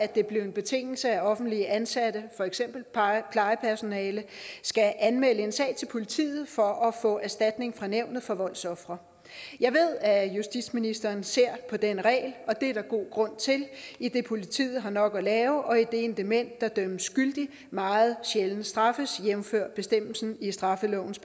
det blev en betingelse at offentligt ansatte for eksempel plejepersonale skal anmelde en sag til politiet for at få erstatning fra nævnet for voldsofre jeg ved at justitsministeren ser på den regel og det er der god grund til idet politiet har nok at lave og idet en dement der dømmes skyldig meget sjældent straffes jævnfør bestemmelsen i straffelovens